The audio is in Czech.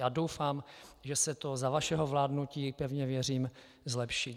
Já doufám, že se to za vašeho vládnutí, pevně věřím, zlepší.